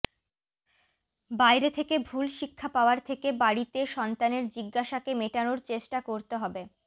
বাইরে থেকে ভুল শিক্ষা পাওয়ার থেকে বাড়িতে সন্তানের জিজ্ঞাসাকে মেটানোর চেষ্টা করতে হবে